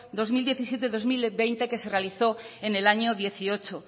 dos mil diecisiete barra dos mil veinte que se realizó en el año dos mil dieciocho